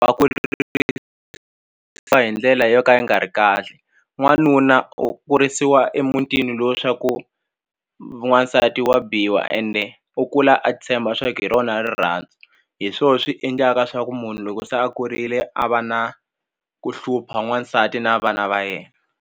A ku wa ndlela yo ka yi nga ri kahle n'wanuna u kurisiwa emutini lowu swa ku n'wansati wa biwa ende u kula a tshemba swa ku hi rona rirhandzu hi swo swi endlaka swa ku munhu loko se a kurile a va na ku hlupha n'wansati na vana va yena.